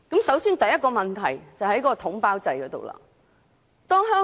首先，當中第一個問題出於統包制。